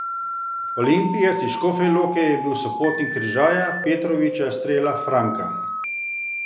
Olimpijec iz Škofje Loke je bil sopotnik Križaja, Petroviča, Strela, Franka ...